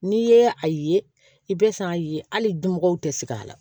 N'i ye a ye i bɛ san ye hali dunbagaw tɛ sigi a la